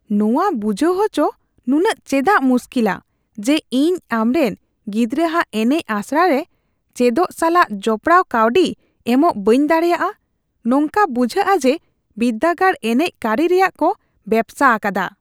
ᱱᱚᱶᱟ ᱵᱩᱡᱷᱟᱹᱣ ᱟᱪᱚ ᱱᱩᱱᱟᱜ ᱪᱮᱫᱟᱜ ᱢᱩᱥᱠᱤᱞᱟ ᱡᱮ ᱤᱧ ᱟᱢᱨᱮᱱ ᱜᱤᱫᱽᱨᱟᱹᱼᱟᱜ ᱮᱱᱮᱡ ᱟᱥᱲᱟ ᱨᱮ ᱪᱮᱫᱚᱜ ᱥᱟᱞᱟᱜ ᱡᱚᱯᱲᱟᱣ ᱠᱟᱹᱣᱰᱤ ᱮᱢᱚᱜ ᱵᱟᱹᱧ ᱫᱟᱲᱮᱭᱟᱜᱼᱟ ? ᱱᱚᱝᱠᱟ ᱵᱩᱡᱷᱟᱹᱜᱼᱟ ᱡᱮ ᱵᱤᱨᱫᱟᱹᱜᱟᱲ ᱮᱱᱮᱡ ᱠᱟᱹᱨᱤ ᱨᱮᱭᱟᱜ ᱠᱚ ᱵᱮᱵᱥᱟ ᱟᱠᱟᱫᱟ ᱾ (ᱠᱷᱟᱹᱢᱤᱡ)